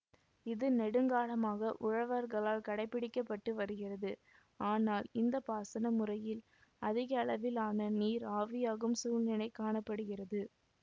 இது நெடுங்காலமாக உழவர்களால் கடைபிடிக்கப்பட்டு வருகிறது ஆனால் இந்த பாசன முறையில் அதிகளவிலான நீர் ஆவியாகும் சூழ்நிலை காண படுகிறது